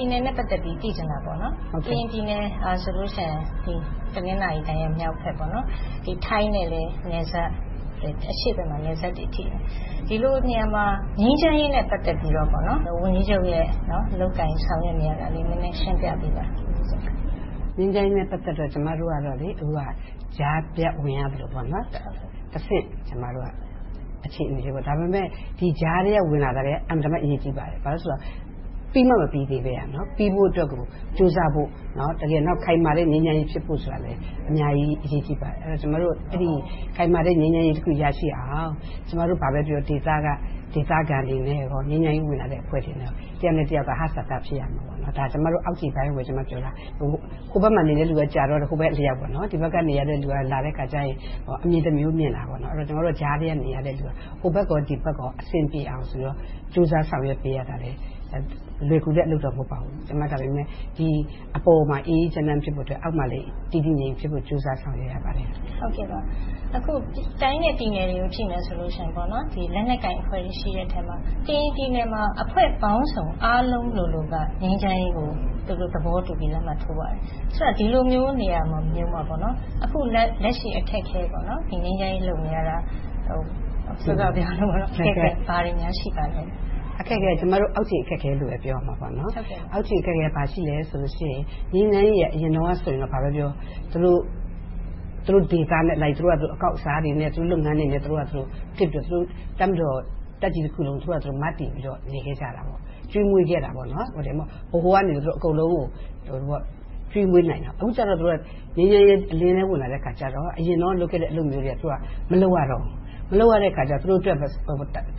ြည်နယ်နဲ့ သိချင်တာတာပေါ့။ ကရင်ပြည်နယ်ဟာဆိုရင် တနင်္သာရီတိုင်းရဲ့မြောက်ဘက်၊ ထိုင်းနဲ့လည်း အရှေ့ဘက်မှာ နယ်စပ်ထိတွေ့နေတယ်။ ဒီလိုနေရာမှာ ငြိမ်းချမ်းရေးနဲ့ ပတ်သက်ပြီးတော့ ဝန်ကြီးချုပ်ရဲ့ လုပ်ကိုင်ဆောင်ရွက်နေတာတွေလည်း နည်းနည်းရှင်းပြပေးပါ။ ငြိမ်းချမ်းရေးနဲ့ ပတ်သက်တာကတော့ ကျမတို့က ကြားဖြတ်ဝင်ရောက်သလို တဆင့်အခြေအနေမျိုး။ ဒါပေမဲ့ ဒီကြားထဲက ဝင်လာတာ အင်မတန်မှ အရေးကြီးပါတယ်။ ဘာဖြစ်လို့လဲဆိုတော့ ပြီးမှမပြီးသေးတာ။ ပြီးဖို့အတွက်ကို ကြိုးစားဖို့၊ ခိုင်မာတဲ့ ငြိမ်းချမ်းရေးဖြစ်ဖို့လည်း အများကြီး အရေးကြီးပါတယ်။ ကျမတို့ ခိုင်မာတဲ့ ငြိမ်းချမ်းရေးတခု ရရှိအောင် ကျမတို့ ဒေသခံတွေနဲ့ ငြိမ်းချမ်းရေးဝင်လာတဲ့အဖွဲ့တွေ တယောက်နဲ့တယောက် သဟဇာတ ဖြစ်ရမယ်။ ဒါက ကျမတို့ အောက်ခြေပိုင်းကို ပြောတာ။ ဟိုဘက်မှာနေတဲ့လူက ဟိုဘက်အလျှောက်၊ ဒီဘက်ကနေတဲ့လူက လာတဲ့အခါကြတော့ အမြင်တမျိုး မြင်တာပေါ့။ ကျမတို့ကြားထဲက နေရတဲ့လူက ဟိုဘက်ဒီဘက် အဆင်ပြေအောင် ကြိုးစားဆောင်ရွက်ပေးရတာ လွယ်ကူတဲ့အလုပ်တော့ မဟုတ်ပါဘူး။ ဒါပေမဲ့ ဒီအပေါ်မှာ အေးအေးချမ်းချမ်းဖြစ်ဖို့၊ အောက်မှာလည်း တည်တည်ငြိမ်ငြိမ်ဖြစ်ဖို့ ကြိုးစားဆောင်ရွက်ရပါတယ်။ အခု တိုင်းနဲ့ပြည်နယ်တွေကို ကြည့်မယ်ဆိုရင် လက်နက်ကိုင်တွေရှိတဲ့အထဲမှာ ကရင်ပြည်နယ်မှာ အဖွဲ့ပေါင်းစုံ အားလုံးလိုလိုက ငြိမ်းချမ်းရေးကို သူတို့ သဘောတူလက်မှတ်ထိုးကြတယ်။ ဆိုတော့ ဒီလိုမျိုးနေရာမှာ အခုလက်ရှိ အခက်အခဲ ငြိမ်းချမ်းရေး လုပ်နေရတာ ဘာတွေများ ရှိနေပါလဲ။ အခက်အခဲက ကျမတို့ အောက်ခြေအခက်အခဲလို့ပဲ ပြောရမှာပေါ့။ အောက်ခြေအခက်အခဲက ဘာရှိလဲဆိုတော့ ငြိမ်းချမ်းရေးက အရင်တုန်းကတော့ ဘာပဲပြောပြော သူတို့ဒေသအလိုက် အကောက်အစားတွေနဲ့ သူတို့လုပ်ငန်းတွေနဲ့ လုပ်နေပြီးတော့ တပ်မတော်တပ်ကြီးတခုကို မတည်ပြီးတော့ ရပ်တည်ခဲ့တယ်။ ကျွေးမွေးခဲ့တာပေါ့။ ဗဟိုကနေ အကုန်လုံးကို ကျွေးမွေးနိုင်တယ်။ အခုတော့ ငြိမ်းချမ်းရေး အလင်းထဲဝင်လာတဲ့အခါကြတော့ အရင်တုန်းက လုပ်ခဲ့တဲ့ အလုပ်မျိုးတွေ မလုပ်ရတော့ဘူး။ မလုပ်ရတော့ သူတို့အတွက် တ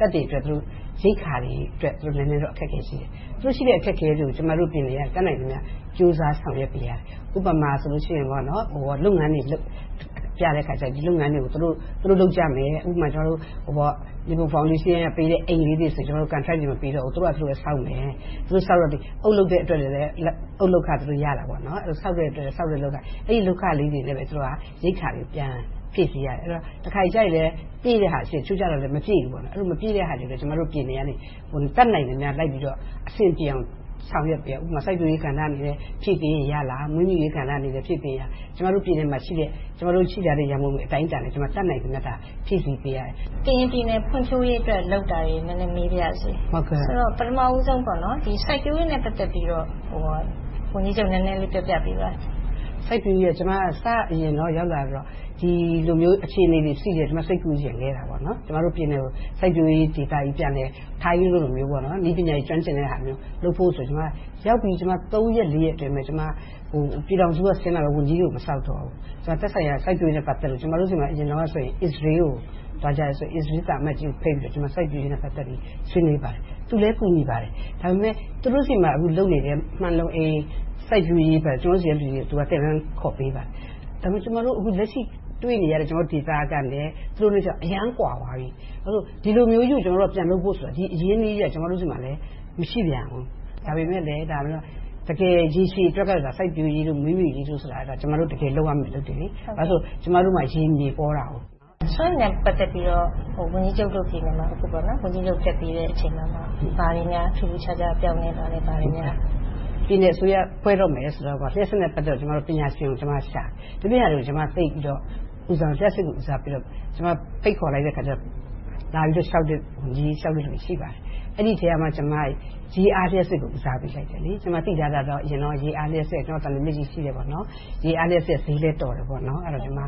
ပ်တွေရိက္ခာတွေအတွက် နည်းနည်းတော့ အခက်အခဲရှိတယ်။ သူတို့ရှိတဲ့ အခက်အခဲတွေကို ကျမတို့ပြည်နယ်က တတ်နိုင်သမျှ ကြိုးစားဆောင်ရွက်ပေးရတယ်။ ဥပမာ လုပ်ငန်းတွေ လုပ်ကြတဲ့အခါ ဒီလုပ်ငန်းတွေကို သူတို့လုပ်ကြမယ်။ ဥပမာ -- အိမ်လေးတွေဆိုရင် ကန်ထရိုက် မပေးတော့ဘူး သူတို့ဘာသာ သူတို့ဆောက်ကြတယ်။ သူတို့ အုတ်လုပ်တဲ့အတွက် အုတ်လုပ်ခ သူတို့ ရကြတယ်။ ဆောက်လုပ်ရေး လုပ်ခလေးတွေနဲ့ပဲ တပ်ရိက္ခာတွေကို ပြန်ဖြည့်ဆည်းကြရတယ်။ တခါတလေတော့ ပြည့်တဲ့ဟာရှိတယ်။ တခါတလေ မပြည့်ဘူး။ မပြည့်တဲ့ဟာတွေကို ကျမတို့ပြည်နယ်ကနေ တတ်နိုင်သမျှ လိုက်ပြီးတော့ အဆင်ပြေအောင် ဆောင်ရွက်ပေးတယ်။ ဥပမာ - စိုက်ပျိုးရေးကဏ္ဍအနေနဲ့ ဖြည့်ပေးရင်ရမလား။ မွေးမြူးရေးကဏ္ဍအနေနဲ့ ဖြည့်ပေးရင်ရမလား။ ကျမတို့ ပြည်နယ်မှာရှိတဲ့ ရန်ပုံငွေ အတိုင်းအတာနဲ့ တတ်နိုင်သမျှ ဖြည့်ဆည်းပေးရတယ်။ ကရင်ပြည်နယ် ဖွံ့ဖြိုးရေးအတွက် လုပ်တာတွေ နည်းနည်းမေးပါရစေ။ ဆိုတော့ ပထမဦးဆုံး စိုက်ပျိုးရေးနဲ့ ပတ်သက်ပြီးတော့ ဝန်ကြီးချုပ် နည်းနည်းလေး ပြောပြပေးပါ။ စိုက်ပျိုးရေးက ကျမ စရောက်လာချိန်တုန်းက ဒီလိုမျိုး အခြေအနေတွေရှိဖို့ စိတ်ကူးရင်ခဲ့တယ်။ ကျမတို့ပြည်နယ်ကို စိုက်ပျိုးရေးဒေသကြီး ပြန်လုပ်မယ်။ ထိုင်းလိုမျိုး နည်းပညာတွေ ကျွမ်းကျင်တဲ့ဟာမျိုးလုပ်ဖို့ဆိုပြီး ရောက်ပြီး သုံးရက်လေးရက်အတွင်းမှာ ပြည်ထောင်စုက ဆင်းလာမယ့် ဝန်ကြီးတွေကို မစောင့်တော့ဘဲ သက်ဆိုင်ရာ စိုက်ပျိုးရေးနဲ့ ပတ်သက်လို့ ကျမတို့ဆီမှာ အရင်တုန်းက အစ္စရေးကို သွားကြတဲ့ အစ္စရေး သံအမတ်ကြီးကိုဖိတ်ပြီး စိုက်ပျိုးရေးနဲ့ ပတ်သက်ပြီး ဆွေးနွေးပါတယ်။ သူကလည်း ကူညီပါတယ်။ ဒါပေမဲ့ သူတို့ဆီမှာ လုပ်နေတဲ့ မှန်လုံအိမ် စိုက်ပျိုးရေးကို ကျမတို့ဆီက လူတွေကို သင်တန်းခေါ်ပေးပါတယ်။ ဒါပေမဲ့ ကျမတို့ လက်ရှိတွေ့နေရတဲ့ ဒီဒေသအခြေအနေနဲ့ သူတို့က အရမ်းကွာသွားပြီ။ ဘာဖြစ်လို့လဲဆိုတော့ ဒီလိုမျိုးကြီး ပြန်လုပ်ဖို့ဆိုတာ ဒီလို အရင်းအနှီးမျိုး ကျမတို့ဆီမှာ မရှိပြန်ဘူး။ ဒါပေမဲ့လဲ တကယ်ရေရှည်အတွက်က စိုက်ပျိုးရေးတို့၊ မွေးမြူရေးတို့ဆိုတာ ကျမတို့ တကယ်လုပ်ရမယ့် အလုပ်တွေ။ ဘာဖြစ်လို့လဲဆိုတော့ ကျမတို့ဆီမှာ ရေမြေပေါတယ်။ စွမ်းအင်နဲ့ ပတ်သက်ပြီး ဝန်ကြီးချုပ်တို့ဆီမှာ ဝန်ကြီးချုပ် တက်ပြီးမှ ဘာတွေများ ထူးထူးခြားခြား ပြောင်းလဲလာလဲ။ ပြည်နယ်အစိုးရ ဖွဲ့တော့မယ်ဆိုတော့ လျှပ်စစ်နဲ့ ပတ်သက်ပြီး ပညာရှင်ကိုရှာတယ်။ ဒီအပြင်ဟာတွေကို သိပ်ပြီးတော့ ဦးစားမပေးဘူး။ လျှပ်စစ်ကို ဦးစားပေးတော့ ကျမ ဖိတ်ခေါ်လိုက်တော့ လာပြီးတော့ လျှောက်တဲ့လူတွေ ရှိပါတယ်။ အဲဒီအထဲမှာ ကျမ ရေအားလျှပ်စစ်ကို ဦးစားပေးလိုက်တယ်။ ကျမ သိထားတာ ရေအားလျှပ်စစ် - သံလွင်မြစ်ကြီး ရှိတယ် - ရေအားလျှပ်စစ်က ဈေးလည်းတော်တယ်ပေါ့။ ရေအားနဲ့ ပတ်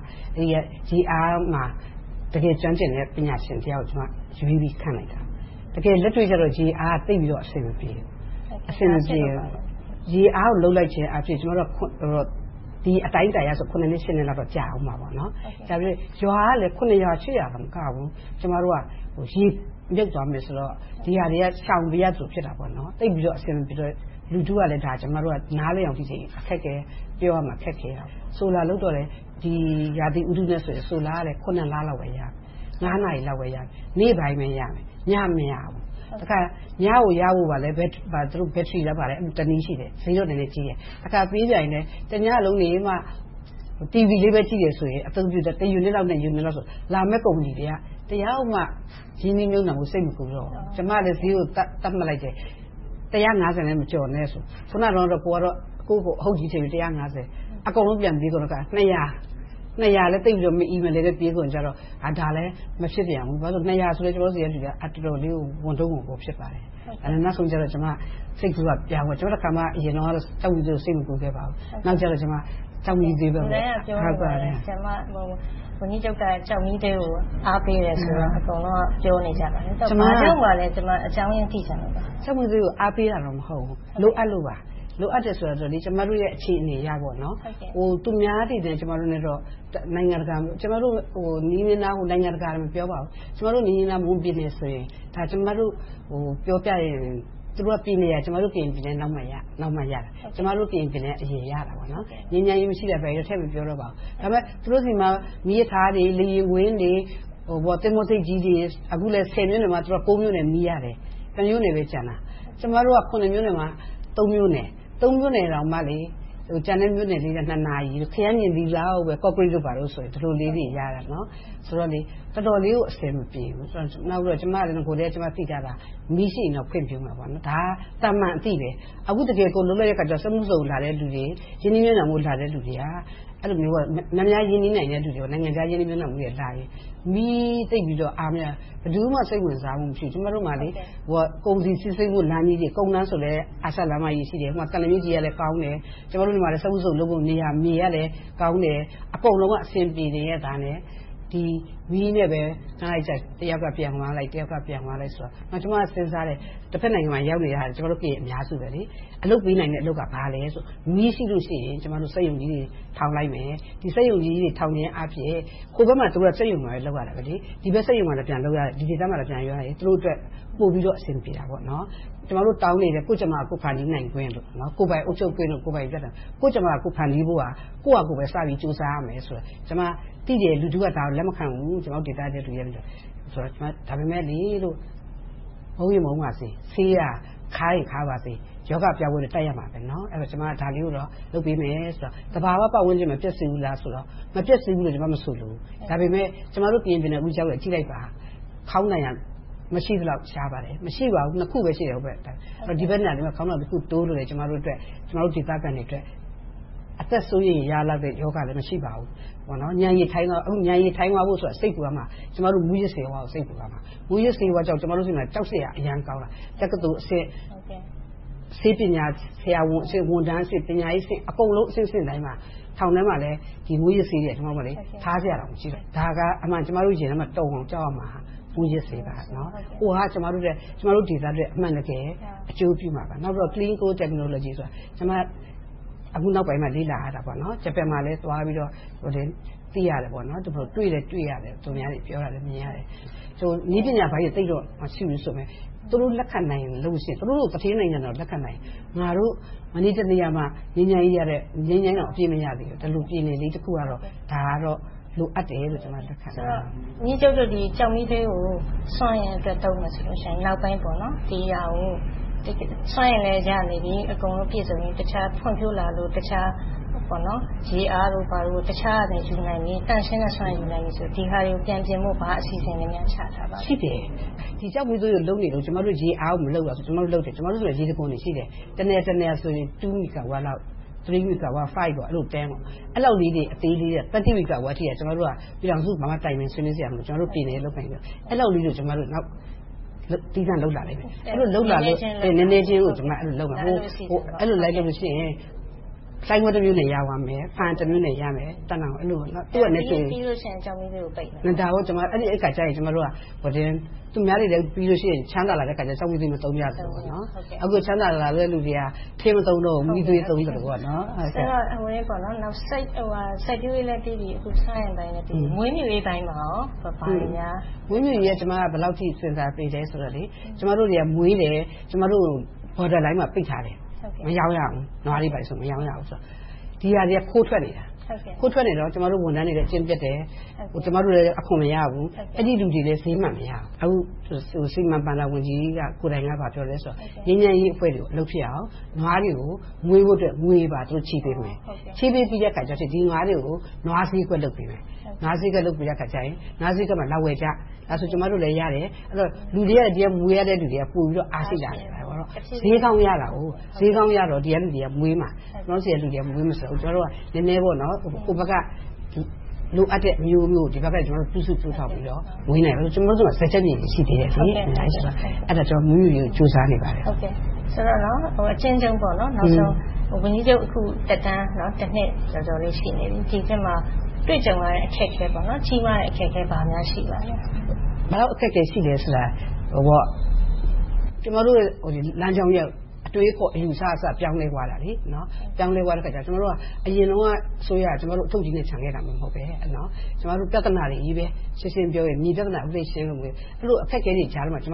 သက်ပြီး တကယ်ကျွမ်းကျင်တဲ့ ပညာရှင်တယောက်ကို ရွေးပြီးခန့်လိုက်တယ်။ တကယ်လက်တွေ့ကြတော့ ရေအားက အဆင်မပြေဘူး။ ရေအားကို လုပ်လိုက်ခြင်းအားဖြင့် ဒီအတိုင်းအတာအားဖြင့် နှစ် နှစ်လောက် ကြာအုံးမှာ။ ရွာကလည်း ရွာ၊ ရွာ မကဘူး။ ရေမြုပ်သွားမယ်ဆိုတော့ ဒီဟာတွေက ရှောင်ပေးရသလို ဖြစ်တာပေါ့။ သိပ်ပြီးတော့ အဆင်မပြေတော့ လူထုကလည်း နားလည်အောင်ပြောဖို့ ခက်ခဲတယ်။ Solar လုပ်တော့လည်း ဒီရာသီဥတုနဲ့ Solar က လလောက်ပဲ ရမယ်။ နာရီလောက်ပဲ ရမယ်။ နေ့ပိုင်းပဲ ရမယ်။ ည မရဘူး။ တခါ ညပိုင်းကို ရဖို့အတွက်လည်း Battery လား မသိဘူး တနည်းရှိတယ် ဈေးတော့နည်းနည်းကြီးတယ်။ တညလုံးနေမှ တီဗီလေးပဲ ကြည့်တယ်ဆိုရင် တယူနစ်၊ နှစ်ယူနစ်လောက်ဆို လာမယ့်ကုမ္ပဏီတွေက တယောက်မှ ရင်းနှီးမြုပ်နံှမှု စိတ်မကူးတော့ဘူး။ ကျမကလည်း ဈေးကို သတ်မှတ်လိုက်တယ်။ တစ်ရာငါးဆယ်နဲ့ မကျော်နဲ့ဆိုပြီ - အခုနတုန်းကတော့ ကိုယ့်ကိုယ်ကို အဟုတ်ကြီးထင်ပြီး တစ်ရာငါးဆယ် - အကုန်လုံးပြန်ပြီတဲ့အခါ နှစ်ရာ - နှစ်ရာလည်း သိပ်ပြီးတော့ မအီမလည်နဲ့ ပေးဝယ်ကြတော့ ဒါလဲ မဖြစ်ပြန်ဘူး။ နှစ်ရာဆို ကျမတို့ဆီက လူတွေက အတော်လေးကို ဝန်ထုပ်ဝန်ပိုး ဖြစ်ပါတယ်။ နောက်ဆုံးကြတော့ ကျမ စိတ်ကူးပြောင်းပြီးတော့ အရင်တုန်းကတော့ ကျောက်မီးသွေးကို စိတ်မကူးခဲ့ပါဘူး။ နောက်ကြတော့ ကျောက်မီးသွေးကို စဉ်းစားခဲ့တာပါ။ လူတိုင်းကပြောတယ်… ဝန်ကြီးချုပ်က ကျောက်မီးသွေးကို အားပေးတယ်ဆိုတော့ အကုန်လုံးက ပြောနေကြပါတယ်။ အကြောင်းရင်းကို သိချင်လို့ပါ။ ကျမ က ကျောက်မီးသွေးကို အားပေးတာ မဟုတ်ဘူး။ လိုအပ်လို့ပါ။ လိုအပ်တယ်ဆိုတာ ကျမတို့ရဲ့ အခြေအနေအရ သူများတွေနဲ့ ကျမတို့နဲ့ နိုင်ငံတကာကို မပြောပါဘူး ကျမတို့ နီးနီးနားနား မွန်ပြည်နယ်ဆိုရင် ပြောပြရရင် သူတို့ပြည်နယ်က ကျမတို့ ကရင်ပြည်နယ်ရဲ့ နောက်မှရတာ။ ကျမတို့ပြည်နယ်က အရင်ရတာပါ။ ငြိမ်းချမ်းရေးမရှိတာ ထည့်မပြောတော့ပါဘူး။ သူတို့ဆီမှာ မီးရထားတွေ၊ လေယာဉ်ကွင်းတွေ၊ သင်္ဘောဆိပ်ကြီးတွေ၊ အခုလဲ ဆယ်မြို့နယ်မှာ ကိုးမြို့နယ် မီးရတယ်။ တစ်မြို့နယ်ပဲ ကျန်တော့တယ်။ ကျမတို့က ခုနှစ်မြို့နယ်မှာ သုံးမြို့နယ်။ သုံးမြို့နယ်တောင်မှ ကျန်တဲ့မြို့နယ်လေးတွေက နှစ်နာရီ၊ ခရမ်းချဉ်သီးလောက်ပဲ ကော့ကရိတ်တို့ဘာတို့ဆိုတော့ တော်တော်လေးကို အဆင်မပြေဘူး။ ကျမ အစောကတည်းက သိထားတာ မီးရှိရင်တော့ ဖွံ့ဖြိုးမယ်ပေါ့။ ဒါက သာမန်အသိ။ အခု တကယ်လုပ်တဲ့အခါကြတော့ စက်မှုဇုန် လာတဲ့လူတွေ၊ ရင်းနှီးမြုပ်နံှမှုလာတဲ့ လူတွေက များများရင်းနှီးနိုင်တဲ့လူတွေ နိုင်ငံခြားရင်းနှီးမြုပ်နံှမှုလာရင် မီးသိပ်ပြီးတော့ မရတော့ ဘယ်သူမှ စိတ်မဝင်စားမှု မရှိဘူး။ ကျမတို့မှာ ကုန်စည်စီးဆင်းမှုလမ်းကြီးတွေ၊ ကုန်လမ်းဆိုလဲ အာရှလမ်းမကြီးရှိတယ်။ သံလွင်မြစ်ကြီးက ကောင်းတယ်။ စက်မှုဇုန်လုပ်ဖို့ မြေကလည်း ကောင်းတယ်။ အကုန်လုံးက အဆင်ပြေပြီး ဒီ မီးနဲ့ တယောက်ကပြန်သွားလိုက်၊ ခဏနေ တယောက်ပြန်သွားလိုက်နဲ့… ကျမ စဉ်းစားတယ် တဘက်နိုင်ငံကို ရောက်နေတာ ကျမတို့ ကရင် အများစု။ အလုပ်ပေးနိုင်တာ ဘာလဲဆိုတော့ မီးရှိလို့ရှိရင် စက်ရုံကြီးတွေ တည်ထောင်လိုက်မယ်။ ဒီ စက်ရုံကြီးတွေ တည်ထောင်ခြင်းအားဖြင့် ဟိုဘက်မှာ သူတို့က စက်ရုံကြီးတွေ လုပ်ရတာ။ ဒီဘက်စက်ရုံကို ပြန်လာလုပ်နိုင်ရင် သူတို့အတွက် ပိုပြီးတော့ အဆင်ပြေတာပေါ့။ ကျမတို့ တောင်းနေတဲ့ ကိုယ့်ကြမ္မာ ကိုယ်ဖန်တီးနိုင်ခွင့်တို့၊ ကိုယ်ပိုင်အုပ်ချုပ်ခွင့်တို့ - ကိုယ့်ကြမ္မာ ကိုယ်ဖန်တီးဖို့က ကိုယ့်ဟာကိုယ် စပြီးကြိုးစားရမယ်။ ကျမ သိတယ် - ဒါကို လူထုက လက်မခံဘူး။ ဒါပေမဲ့ မုန်းရင် မုန်းပါစေ - ဆေးက ခါးရင်ခါးပါစေ - ရောဂါပျောက်ဖို့အတွက် တိုက်ရမှာ။ ကျမက ဒါလေးကိုတော့ လုပ်ပေးမယ်ဆိုတော့ သဘာဝပတ်ဝန်းကျင် မပျက်စီးဘူးလားဆိုတော့ မပျက်စီးဘူးလို့ ကျမ မဆိုလိုဘူး - ဒါပေမဲ့ ကျမတို့ ကရင်ပြည်နယ်ကို အခုရောက်နေတုန်း ကြည့်လိုက်ပါ ခေါင်းတိုင်က မရှိသလောက် ရှားပါတယ်။ နှစ်ခုပဲ ရှိတယ်။ ဒီဘက်မှာ ခေါင်းတိုင်တခုတိုးလို့ ကျမတို့ ဒေသခံတွေအတွက် အသက်စိုးရိမ်ရလောက်တဲ့ ရောဂါလည်း မရှိပါဘူး။ ဉာဏ်ရည်ထိုင်းသွားဖို့ဆိုတာ စိတ်ပူရမှာ ကျမတို့ မူးယစ်ဆေးဝါးကို စိတ်ပူရမှာ။ မူးယစ်ဆေးဝါးကြောင့် ကျမတို့ဆီမှာ ကြောက်စရာ အရမ်းကောင်းတာ။ တက္ကသိုလ်အဆင့်၊ ဆေးပညာဆရာဝန်အဆင့်၊ ဝန်ထမ်းအဆင့်၊ ပညာရေးအဆင့် အကုန်လုံးအဆင့်ဆင့်တိုင်းမှာ ထောင်ထဲမှာလည်း မူးယစ်ဆေးတွေက ထားစရာတောင် မရှိတော့ဘူး။ ဒါကို ကျမတို့ ရင်ထဲမှာ တုန်အောင်ကြောက်ရမှာ မူးယစ်ဆေးပါ။ ဟိုဟာက ကျမတို့ဒေသအတွက် အမှန်တကယ် အကျိုးပြုမှာပါ။ ပြီးတော့ Clean Coal Technology ဆိုတာ ကျမ အခုနောက်ပိုင်းမှာ လေ့လာရတာ - ဂျပန်မှာလည်းသွားပြီးတော့ လေ့လာသိရတယ်။ တွေ့လည်းတွေ့ရတယ်။ သူများတွေ ပြောတာလည်း မြင်ရတယ်။ နည်းပညာပိုင်းတွေ သိပ်တော့ မရှိဘူးဆိုပေမယ့် သူတို့လို သူဌေးနိုင်ငံတောင် လက်ခံနိုင်ရင် ငါတို့ မနေ့တနေ့ကမှ ငြိမ်းချမ်းရေးတောင် အပြည့်မရသေးတဲ့ ဒီလို ပြည်နယ်လေးတခုကတော့ ဒါကတော့ လိုအပ်တယ်ဆိုပြီး လက်ခံတာပါ။ ဆိုတော့ ဝန်ကြီးချုပ်တို့ ကျောက်မီးသွေးကို စွမ်းအင်အတွက် သုံးမယ်ဆိုရင် နောက်ပိုင်း ဒီဟာကို စွမ်းအင်လည်း ရနေပြီ၊ အကုန်လုံး ပြည့်စုံပြီ၊ ဖွံ့ဖြိုးလာလို့ တခြားရေအားတို့ဘာတို့ ယူနိုင်ပြီ၊ သန့်ရှင်းတဲ့စွမ်းအင် ယူနိုင်ပြီဆိုရင် ဒီဟာတွေကို ပြန်ပြင်ဖို့ ဘာအစီအစဉ်တွေများ ချမှတ်ထားပါလဲ။ ရှိပါတယ်။ ဒီ ကျောက်မီးသွေးကို လုပ်နေတုန်း ကျမတို့ ရေအားကို မလုပ်ဘူးလားဆိုတော့ လုပ်နေတယ်။ ကျမတို့ဆီမှာ ရေတံခွန်တွေရှိတယ်။ တနယ်တနယ်ဆိုရင် နှစ်မီဂါဝပ်လောက် သုံး၊ ငါး မီဂါဝပ်လောက် အဲဒီလောက်လေးတွေ အသေးလေးတွေက သုံးဆယ်မီဂါဝပ်လောက်အထိ ပြည်ထောင်စုကို ဘာမှတိုင်ပင်စရာမလို ကျမတို့ ပြည်နယ်ရဲ့ လုပ်ပိုင်ခွင့်။ အဲဒီလောက်ကို ကျမတို့ သီးသန့်လုပ်လာမယ်။ နည်းနည်းချင်းကို လုပ်လာမယ်။ အဲဒီလို လိုက်လုပ်လို့ရှိရင် လှိုင်ဘွဲမြို့နယ် ရသွားမယ်။ ဖားအံတမြို့နယ်ရမယ်။ သံတောင်ရမယ်။ ပြီးတော့ရှိရင် ကျောက်မီးသွေးကို ပိတ်မယ်။ ဒါပေါ့.. အဲဒီအခါကြရင် ကျမတို့က သူများတွေ ချမ်းသာလာတဲ့အခါ ကျောက်မီးသွေး မသုံးကြတော့ဘူး။ အခု ချမ်းသာလာတဲ့လူတွေက ထင်းမသုံးတော့ဘူး။ မီးသွေး သုံးသလိုပေါ့။ စိုက်ပျိုးရေးလည်းပြီးပြီ။ အခု စွမ်းအင်လည်းပြီးပြီ။ မွေးမြူရေးပိုင်းမှာ ဘာတွေများ လုပ်ဆောင်နေပါလဲ။ မွေးမြူးရေးပိုင်းကို ဘယ်လောက်အထိ စဉ်းစားပေးလဲဆိုတော့ ကျမတို့က မွေးတယ်။ Border line နယ်စပ်ကို ပိတ်ထားတယ်။ နွားတွေဘာတွေဆို မရောင်းရဘူး။ ဒီစာတွေက ခိုးထွက်နေတာ။ ခိုးထွက်နေတော့ ကျမတို့ဝန်ထမ်းတွေလည်း အကျင့်ပျက်တယ်။ ကျမတို့လည်း အခွန်မရဘူး။ အဲဒီလူတွေလည်း ဈေးမှန်မရဘူး။ စီမံဘဏ္ဍာဝန်ကြီးကိုယ်တိုင်က ဘာပြောလဲဆိုတော့ ငြိမ်းချမ်းရေးအဖွဲ့တွေ အလုပ်ဖြစ်အောင် နွားတွေ မွေးဖို့အတွက် ငွေတွေချေးပေးမယ်။ ချေးပြီးတဲ့နောက် ဒီနွားတွေကို နွားဈေးကွက် လုပ်ပေးမယ်။ နွားဈေးကွက် လုပ်ပေးတဲ့အခါ နွားဈေးကွက်မှာလာဝယ်ကြ။ ဒါဆိုရင် ကျမတို့လည်း ရမယ်။ ဒီက မွေးရတဲ့လူတွေက အားရှိလာမယ်။ ဈေးကောင်းရတော့ ဒီကလူတွေက မွေးမှာ။ ကျမတို့ဆီက လူတွေက မွေးမှာဆိုတော့ ကျမတို့က ဟိုဘက်က လိုအပ်တဲ့မျိုးကို ဒီဘက်က ပြုစုပျိုးထောင်ပြီးတော့ မွေးနိုင်မယ်။ ကျမတို့ဆီမှာ စားကျက်မြေ ရှိနေသေးတယ်။ အဲဒီတော့ ကျမတို့ မွေးမြူးရေးကို ကြိုးစားနေပါတယ်။ နောက်ဆုံး အကျဉ်းရုံး ဝန်ကြီးချုပ် အခုသက်တမ်း နှစ်ကျော်ကျော် ရှိနေပြီ။ ဒီ နှစ်အတွင်းမှာ တွေ့ကြုံရတဲ့ အခက်အခဲ၊ ကြီးမားတဲ့ အခက်အခဲ ဘာများရှိလဲ။ ဘယ်လောက် အခက်အခဲ ရှိလဲဆိုတာ ကျမတို့ လမ်းကြောင်းကြီးက အတွေးအခေါ်၊ အယူအဆကအစ ပြောင်းလဲသွားတာ။ ပြောင်းလဲသွားတော့ အရင်တုန်းက အစိုးရက ကျမတို့ကို အထုပ်ကြီးနဲ့ ချန်သွားခဲ့တာ မဟုတ်ဘဲ။ ရှင်းရှင်းပြောရင် ပြဿနာတွေကြီးပဲ။ မြေပြဿနာ အခုထိ ရှင်းနေရတုန်းပဲ။ အဲဒီလို အခက်အခဲတွေကြားမှာ ဒါ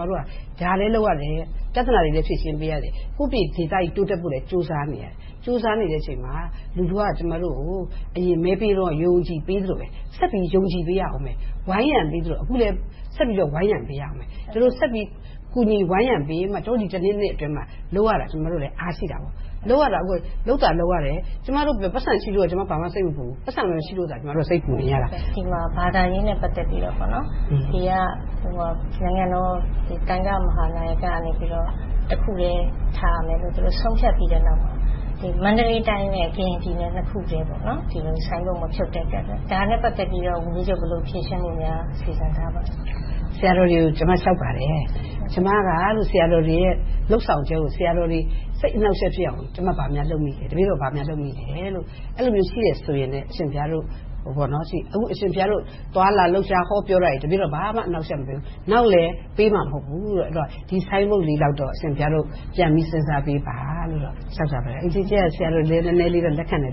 လဲ လုပ်ရတယ်။ ပြဿနာတွေလည်း ဖြေရှင်းပေးရတယ်။ ကိုယ့်ပြည်နယ် တိုးတက်ဖို့လည်း ကြိုးစားနေရတယ်။ ကြိုးစားနေရတဲ့အချိန်မှာ လူထုက ကျမတို့ကို အရင်မဲပေးတုန်းက ယုံယုံကြည်ကြည် ပေးသလိုမျိုး ဆက်ပြီးယုံကြည်ပေးရအုံးမယ်။ ဝိုင်းရံပေးသလို အခုလည်း ဆက်ပြီးတော့ ဝိုင်းရံပေးရအုံးမယ်။ ဒီလိုဆက်ပြီး ဝိုင်းရံကူညီပေးမှ ကျမတို့ ဒီ နှစ် နှစ်အတွင်းမှာ လုပ်ရတာလည်း အားရှိတာပေါ့။ အခုက လုပ်သာလုပ်ရတယ် ကျမတို့ ပိုက်ဆံရှိလို့က ဘာမှစိတ်မပူဘူး။ ပိုက်ဆံမရှိလို့သာ စိတ်ပူနေရတာ။ ဒီမှာ ဘာသာရေးနဲ့ ပတ်သက်လို့ နိုင်ငံတော် သံဃာဂိုဏ်းမဟာနာယကကို တစ်ခုတည်း ထားရမယ်လို့ ဆုံးဖြတ်ပြီးတဲ့နောက်မှာ မန္တလေးတိုင်းနဲ့ ကရင်ပြည်နယ်နှစ်ခုတည်း ဆိုင်ဘုတ်မဖြုတ်ဘဲနေခဲ့တယ်။ ဒါနဲ့ ပတ်သက်ပြီး ဝန်ကြီးချုပ် ဘယ်လိုဖြေရှင်းဖို့ စီစဉ်ထားပါလဲ။ ဆရာတော်တွေကို ကျမ လျှောက်ပါတယ်။ ကျမက ဆရာတော်တွေရဲ့ လုပ်ဆောင်ချက်ကို ဆရာတော်တွေ စိတ်အနှောင့်အယှက်ဖြစ်အောင် ဘာများလုပ်မိလဲ။ တပည့်တော် ဘာများလုပ်မိလဲ။ အဲဒီလိုမျိုးရှိတဲ့ဆိုရင် အရှင်ဘုရားတို့ပြောပါ။ အခု အရှင်ဘုရားတို့ သွားလာလှုပ်ရှား ဟောပြောတာတွေ ဘာမှအနှောင့်အယှက် မပေးဘူး။ နောက်လည်း ပေးမှာမဟုတ်ဘူး။ ဒီဆိုင်ဘုတ်လေးတော့ အရှင်ဘုရားတို့ ပြန်ပြီးစဉ်းစားပေးပါလို့ လျှောက်ထားပါတယ်။ ဆရာတော်တွေလည်း နည်းနည်းလေးတော့ လက်ခံတယ်လိ